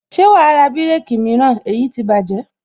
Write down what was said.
Ṣé wàá ra bireki mìíràn èyí ti bájẹ̀